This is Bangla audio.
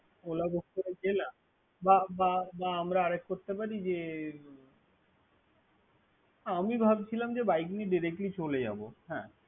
ওলা বুক গেলাম বা বা আমারা আরেক করতে যে, আমি ভাবছিলাম যে Directly চলে যাব। হ্যা।